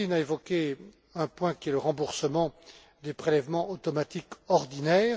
M. Martin a évoqué un point qui est le remboursement des prélèvements automatiques ordinaires.